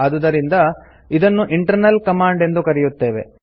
ಆದುದರಿಂದ ಇದನ್ನು internal command ಎಂದು ಕರೆಯುತ್ತೇವೆ